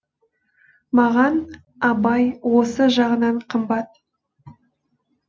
маған абай осы жағынан қымбат